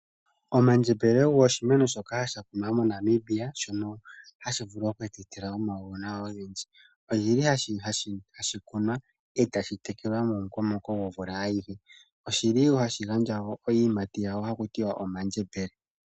Omandjembele ogo oshimeno shoka sha kunwa moNamibia, shono hashi vulu oku tu etela omauwanawa ogendji. Oshili hashi kunwa e tashi tekelwa mo mukokomoko govula ayihe. Oshili wo hashi gandja iiyimati yawo haku tiwa omandjembele.